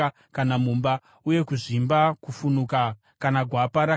uye kuzvimba, kufunuka, kana gwapa rakacheneruka,